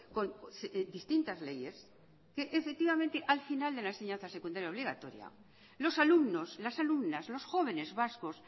con distintas leyes que al final de la enseñanza secundaria obligatoria los alumnos las alumnas los jóvenes vascos